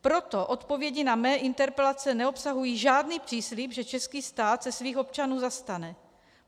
Proto odpovědi na mé interpelace neobsahují žádný příslib, že český stát se svých občanů zastane.